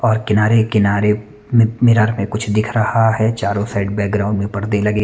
और किनारे-किनारे मि-मिरर में कुछ दिख रहा है चारो साइड बैकग्राउंड में पर्दे लगे--